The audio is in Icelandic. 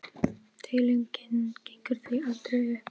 Deilingin gengur því aldrei upp.